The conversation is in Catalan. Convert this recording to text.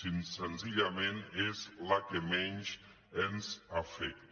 senzillament és la que menys ens afecta